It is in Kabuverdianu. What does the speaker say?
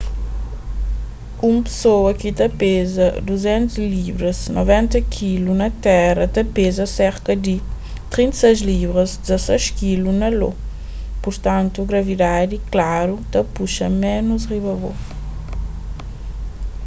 un pesoa ki ta peza 200 libras 90kg na terra ta peza serka di 36 libras 16kg na io. purtantu gravidadi klaru ta puxa ménus riba bo